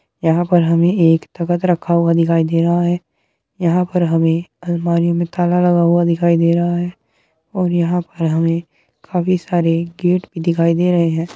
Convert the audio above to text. यहाँ पर हमें एक तख्त रखा हुआ दिखाई दे रहा है। यहाँ पर हमें अलमारी में ताला लगा हुआ दिखाई दे रहा है और यहाँ पर हमें काफी सारे गेट भी दिखाई दे रहें हैं।